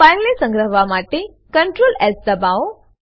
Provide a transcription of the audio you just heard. ફાઈલને સંગ્રહવા માટે CtrlS દબાવો